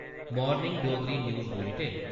morning Dogri news bulletin